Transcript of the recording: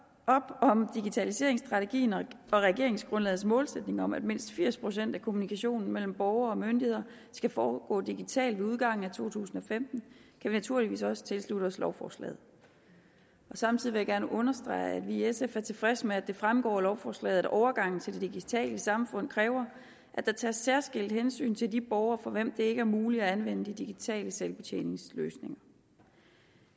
op om digitaliseringsstrategien og regeringsgrundlagets målsætning om at mindst firs procent af kommunikationen mellem borgere og myndigheder skal foregå digitalt ved udgangen af to tusind og femten kan vi naturligvis også tilslutte os lovforslaget samtidig vil jeg gerne understrege at vi i sf er tilfredse med at det fremgår af lovforslaget at overgangen til det digitale samfund kræver at der tages særskilt hensyn til de borgere for hvem det ikke er muligt at anvende de digitale selvbetjeningsløsninger